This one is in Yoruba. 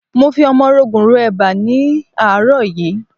Mo fi ọmọrogùn ro eba ni ní àárọ̀ yìí.